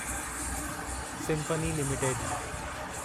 symphony limited